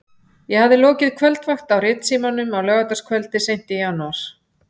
Ég hafði lokið kvöldvakt á Ritsímanum á laugardagskvöldi seint í janúar.